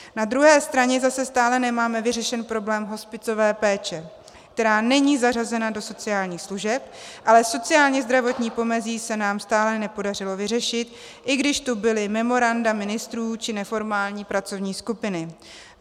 Na druhé straně zase stále nemáme vyřešen problém hospicové péče, která není zařazena do sociálních služeb, ale sociálně-zdravotní pomezí se nám stále nepodařilo vyřešit, i když tu byla memoranda ministrů či neformální pracovní skupiny.